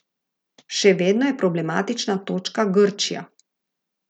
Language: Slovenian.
Še vedno je problematična točka Grčija.